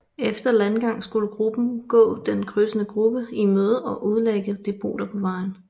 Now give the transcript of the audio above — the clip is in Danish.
Efter landgang skulle gruppen gå den krydsende gruppe i møde og udlægge depoter på vejen